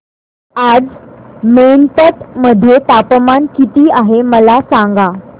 आज मैनपत मध्ये तापमान किती आहे मला सांगा